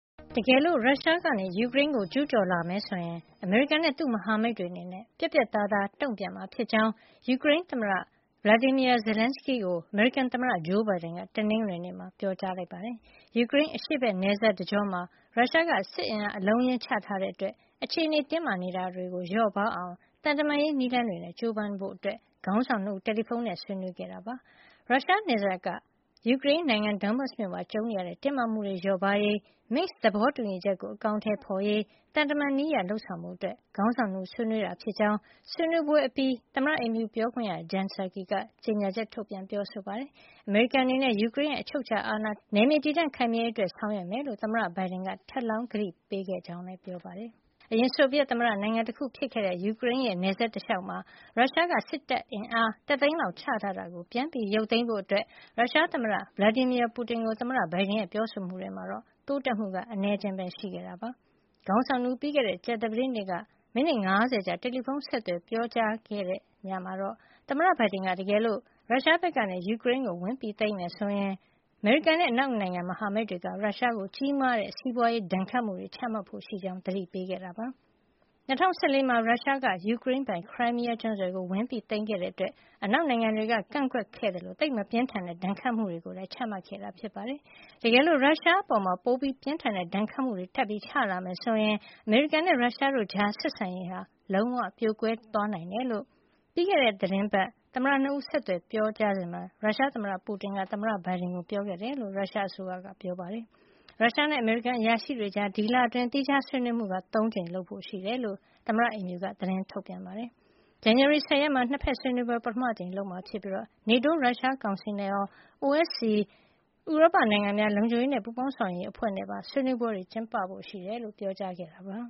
တကယ်လို့ ရုရှားက ယူကရိန်းကို ကျူးကျော်လာမယ်ဆိုရင် အမေရိကန်နဲ့ သူ့မဟာမိတ်တွေအနေနဲ့ ပြတ်ပြတ်သားသား တုံ့ပြန်မှာဖြစ်ကြောင်း ယူကရိန်းသမ္မတ Volodymyr Zelenskiy ကို အမေရိကန်သမ္မတ Joe Biden က တနင်္ဂနွေနေ့မှာ ပြောကြားလိုက်ပါတယ်။ ယူကရိန်း အရှေ့ဘက်နယ်စပ်တကြောမှာ ရုရှားက စစ်အင်အား အလုံးအရင်း ချထားတဲ့အတွက် အခြေအနေ တင်းမာနေတာကို လျော့ပါးအောင် သံတမန်ရေး နည်းလမ်းတွေနဲ့ ကြိုးပမ်းဖို့ ခေါင်းဆောင် ၂ ဦး တယ်လီဖုန်းနဲ့ ဆက်သွယ်ဆွေးနွေးခဲ့တာပါ။ ရုရှားနယ်စပ်က ယူကရိန်းနိုင်ငံ Donbas မြို့မှာ ကြုံနေရတဲ့ တင်းမာမှုတွေ လျော့ပါးရေး Minsk သဘောတူညီချက်ကို အကောင်ထည်ဖော်ရေး သံတမန်နည်းအရ လုပ်ဆောင်ဖို့အတွက် ခေါင်းဆောင် ၂ ဦး ဆွေးနွေးခဲ့ကြတာဖြစ်ကြောင်း ဆွေးနွေးပွဲအပြီးမှာ သမ္မတအိမ်ဖြူတော် ပြောခွင့်ရ Jen Psaki က ကြေညာချက် ထုတ်ပြန် ပြောဆိုပါတယ်။ အမေရိကန်အနေနဲ့ ယူကရိန်းနိုင်ငံရဲ့ အချုပ်အခြာအာဏာနဲ့ နယ်မြေတည်တံ့ခိုင်မြဲရေး အတွက် ဆောင်ရွက်မှာဖြစ်ကြောင်း သမ္မတ Biden က ထပ်လောင်း ကတိပေးခဲ့ကြောင်းလည်း ပြောပါတယ်။ အရင် ဆိုဗီယက်သမ္မတနိုင်ငံတခု ဖြစ်ခဲ့တဲ့ ယူကရိန်းနဲ့ နယ်စပ်တလျှောက်မှာ ရုရှားက တပ်အင်အား တသိန်းလောက် ချထားတာကို ပြန်ရုပ်သိမ်းဖို့ ရုရှားသမ္မတ Vladimir Putin ကို သမ္မတ Biden ရဲ့ ပြောဆိုမှုတွေမှာ တိုးတက်မှုက အနည်းအကျဉ်း ရှိခဲ့တာပါ။ ခေါင်းဆောင် ၂ ဦး ပြီးခဲ့တဲ့ ကြာသပတေးနေ့က မိနစ် ၅၀ ကြာ တယ်လီဖုန်းဆက်သွယ် ပြောကြားခဲ့ရာမှာတော့ သမ္မတ Biden က တကယ်လို့ ရုရှားဘက်က ယူကရိန်းကို ဝင်သိမ်းမယ်ဆိုရင် အမေရိကန်နဲ့ အနောက်နိုင်ငံ မဟာမိတ်တွေက ရုရှားကို ကြီးမားတဲ့ စီးပွားရေးဒဏ်ခတ်မှုတွေ ချမှတ်ဖို့ရှိကြောင်း သတိပေးခဲ့တာ ဖြစ်ပါတယ်။ ၂၀၁၄ မှာ ရုရှားက ယူကရိန်းပိုင် Crimea ကျွန်းဆွယ်ကို ဝင်ရောက်သိမ်းပိုက်ခဲ့တဲ့အတွက် အနောက်နိုင်ငံတွေက ကန့်ကွက်ခဲ့သလို သိပ်မပြင်းထန်တဲ့ ဒဏ်ခတ်မှုတွေ ချမှတ်ခဲ့တာပါ။ တကယ်လို့ ရုရှားအပေါ် ပိုပြင်းထန်တဲ့ ဒဏ်ခတ်မှုတွေ ချလာမယ်ဆိုရင် အမေရိကန်နဲ့ ရုရှားတို့ကြား ဆက်ဆံရေးဟာ လုံးဝ ပြိုကွဲသွားနိုင်တယ်လို့ ပြီးခဲ့တဲ့သီတင်းပတ် သမ္မတ ၂ ဦး ဆက်သွယ်ပြောကြားစဉ်မှာ ရုရှားသမ္မတ Putin က သမ္မတ Biden ကို ပြောခဲ့တယ်လို့ ရုရှားအစိုးရက ပြောပါတယ်။ ရုရှားနဲ့ အမေရိကန် အရာရှိတွေကြား ဒီလအတွင်း သီးခြားဆွေးနွေးမှု ၃ ကြိမ်ပြုလုပ်ဖို့ ရှိတယ်လို့ သမ္မတအိမ်ဖြူတော်က သတင်းထုတ်ပြန်ပါတယ်။ ဇန်နဝါရီလ ၁၀ ရက်နေ့မှာ နှစ်ဖက်ဆွေးနွေးပွဲကို ပထမအကြိမ် ပြုလုပ်မှာဖြစ်ပြီး NATO - ရုရှားကောင်စီနဲ့ရော OSCE ဥရောပနိုင်ငံများ လုံခြုံရေးနဲ့ ပူးပေါင်းဆောင်ရွက်ရေးအဖွဲ့နဲ့ပါ ဆွေးနွေးပွဲတွေ ကျင်းပဖို့ရှိကြောင်း ပြောကြားထားတာပါ